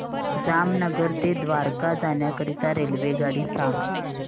जामनगर ते द्वारका जाण्याकरीता रेल्वेगाडी सांग